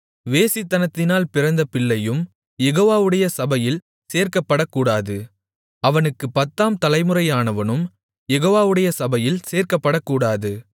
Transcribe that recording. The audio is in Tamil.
வேசித்தனத்தினால் பிறந்த பிள்ளையும் யெகோவாவுடைய சபையில் சேர்க்கப்படக்கூடாது அவனுக்குப் பத்தாம் தலைமுறையானவனும் யெகோவாவுடைய சபையில் சேர்க்கப்படக்கூடாது